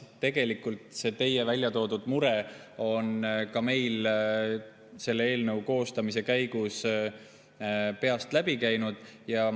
See teie väljatoodud mure käismeil selle eelnõu koostamise käigus peast läbi.